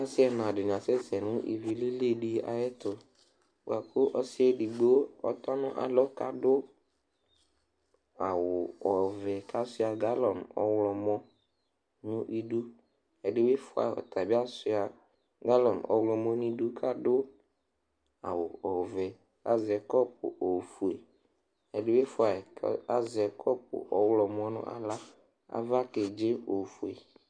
ase ɛna di ni asɛ sɛ no ivi lili di ayɛto boa ko ɔsiɛ edigbo atɔ n'alɔ k'ado awu ɔvɛ kasua galɔn ɔwlɔmɔ no idu ɛdi bi fua ɔtabi asua galɔn ɔwlɔmɔ n'idu k'ado awu ɔvɛ k'azɛ kɔpu ofue ɛdi bi fua yi k'azɛ kɔpu ewlɔmɔ no ala ava kedze ofue